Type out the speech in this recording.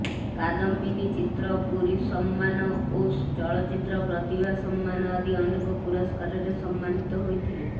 କାଦମ୍ବିନୀ ଚିତ୍ର ପୁରୀ ସମ୍ମାନ ଓ ଚଳଚ୍ଚିତ୍ର ପ୍ରତିଭା ସମ୍ମାନ ଆଦି ଅନେକ ପୁରସ୍କାରରେ ସମ୍ମାନୀତ ହୋଇଥିଲେ